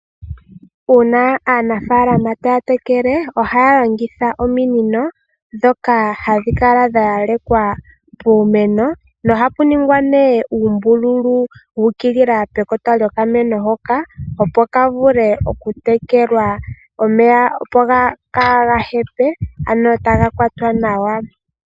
Uuna aanafalama taya tekele ohaya longitha ominino ndhoka hadhi kala dha yalekwa puumeno nohapu ningwa uumbululu wu ukilila pekota lyokameno hoka, opo ka vule okutekelwa omeya, opo kaaga hepe ano taga kwatwa nawa.